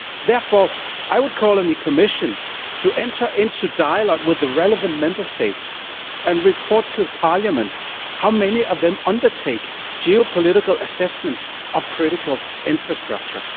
Therefore, I am calling on the Commission to enter into dialogue with the relevant Member States and to tell Parliament how many of them undertake geopolitical assessments of critical infrastructure.